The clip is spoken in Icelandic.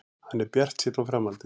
Hann er bjartsýnn á framhaldið.